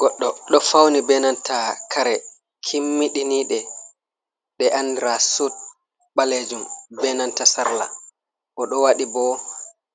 Goddo ɗo fauni benanta kare kimmiɗinide, ɗe andira sud ɓalejum benanta sarla, o ɗo waɗi bo